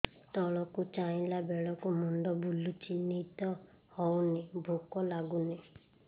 ତଳକୁ ଚାହିଁଲା ବେଳକୁ ମୁଣ୍ଡ ବୁଲୁଚି ନିଦ ହଉନି ଭୁକ ଲାଗୁନି